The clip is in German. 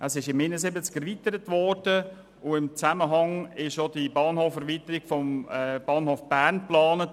Im Jahr 1971 wurde es erweitert, und in diesem Zusammenhang wurde auch die Erweiterung des Bahnhofs Bern geplant.